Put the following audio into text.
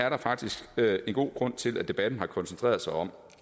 er faktisk en god grund til at debatten har koncentreret sig om